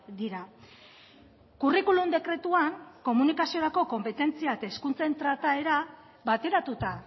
dira curriculum dekretuan komunikaziorako konpetentzia eta hizkuntzen trataera bateratuta